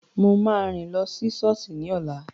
Mo máa rìn lọ sí sọ́ọ̀sì ní ọ̀la